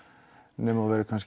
nema þú verðir